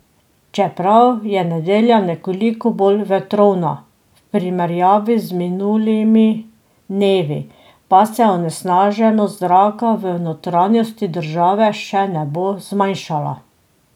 Čeprav je nedelja nekoliko bolj vetrovna v primerjavi z minulimi dnevi, pa se onesnaženost zraka v notranjosti države še ne bo zmanjšala.